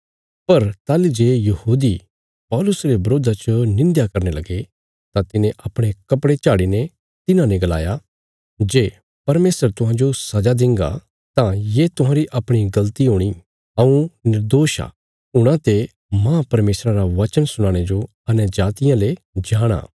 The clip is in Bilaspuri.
पर ताहली जे यहूदी पौलुस रे बरोधा च निंध्या करने लगे तां तिने अपणे कपड़े झाड़ी ने तिन्हांने गलाया जे परमेशर तुहांजो सजा देंगा तां ये तुहांरी अपणी गल़ती हूणी हऊँ निर्दोष आ हूणा ते मांह परमेशरा रा वचन सुनाणे जो अन्यजातियां ले जाणा